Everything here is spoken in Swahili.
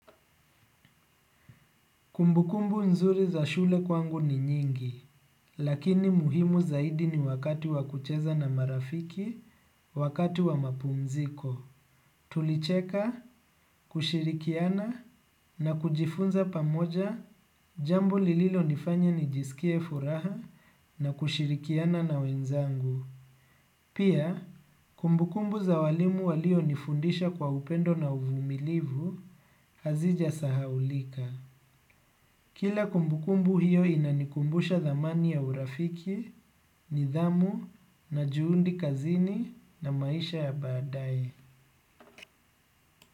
Kumbukumbu nzuri za shule kwangu ni nyingi, lakini muhimu zaidi ni wakati wa kucheza na marafiki, wakati wa mapumziko. Tulicheka, kushirikiana, na kujifunza pamoja, jambo lililo nifanya nijisikie furaha, na kushirikiana na wenzangu. Pia, kumbukumbu za walimu walionifundisha kwa upendo na uvumilivu, hazija sahaulika. Kila kumbukumbu hiyo inanikumbusha dhamani ya urafiki, nidhamu, na juhundi kazini na maisha ya baadae.